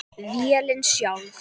Vélin sjálf